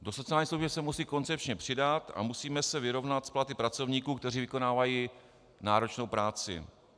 Do sociálních služeb se musí koncepčně přidat a musíme se vyrovnat s platy pracovníků, kteří vykonávají náročnou práci.